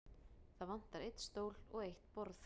Það vantar einn stól og eitt borð.